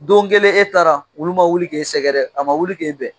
Don kelen e taara , wulu ma wuli k'e sɛgɛrɛ, a ma wuli k'e bɛn.